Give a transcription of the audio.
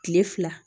Kile fila